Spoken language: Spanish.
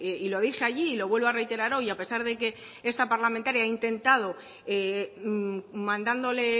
y lo dije allí y lo vuelvo a reiterar hoy a pesar de que esta parlamentaria ha intentando mandándole